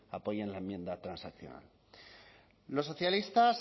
apoyan la enmienda transaccional los socialistas